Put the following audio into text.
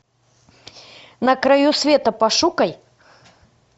на краю света пошукай